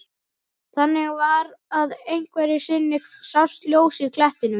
Þannig var að einhverju sinni sást ljós í klettinum.